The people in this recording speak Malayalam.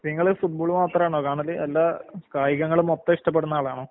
നിങ്ങള് ഫുട്ബോള് മാത്രാണോ കാണല്, അല്ല കായികങ്ങള് മൊത്തയിഷ്ടപ്പെടുന്ന ആളാണോ?